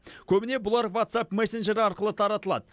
көбіне бұлар ватсап мессенджері арқылы таратылады